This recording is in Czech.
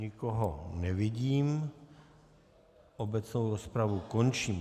Nikoho nevidím, obecnou rozpravu končím.